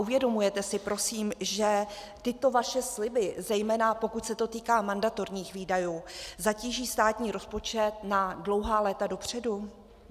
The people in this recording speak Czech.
Uvědomujete si, prosím, že tyto vaše sliby, zejména pokud se to týká mandatorních výdajů, zatíží státní rozpočet na dlouhá léta dopředu?